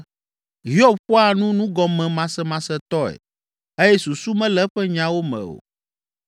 ‘Hiob ƒoa nu nugɔmemasemasetɔe eye susu mele eƒe nyawo me o.’